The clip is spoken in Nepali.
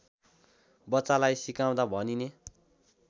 बच्चालाई सिकाउँदा भनिने